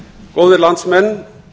góðir landsmenn